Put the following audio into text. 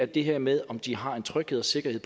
det her med om de har en tryghed og sikkerhed